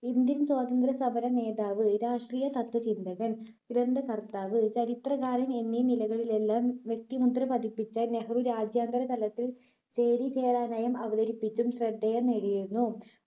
indian സ്വാതന്ത്ര്യ സമര നേതാവ്, രാഷ്ട്രീയ തത്ത്വചിന്തകൻ, ഗ്രന്ഥകർത്താവ്, ചരിത്രകാരൻ എന്നീ നിലകളിലെല്ലാം വ്യക്തിമുദ്ര പതിപ്പിച്ച നെഹ്‌റു രാജ്യാന്തര തലത്തിൽ അവതരിപ്പിച്ചും ശ്രദ്ധേയം നേടിയിരുന്നു.